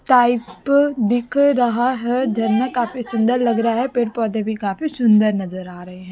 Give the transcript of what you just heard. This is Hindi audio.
टाइप दिख रहा है झरना काफी सुंदर लग रहा है पेड़ पौधे भी काफी सुंदर नजर आ रहे हैं।